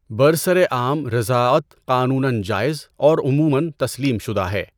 برسر عام رضاعت قانونًا جائز اور عمومًا تسلیم شدہ ہے۔